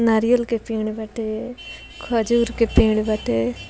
नारियल के पेड़ बाटे खजूर बाटे।